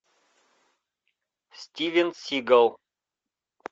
стивен сигал